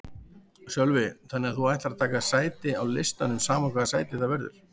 Sölvi: Þannig að þú ætlar að taka sæti á listanum sama hvaða sæti það verður?